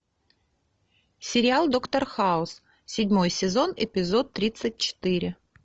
сериал доктор хаус седьмой сезон эпизод тридцать четыре